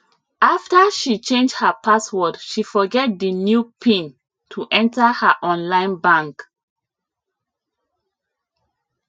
after she change her password she forget di new pin to enter her online bank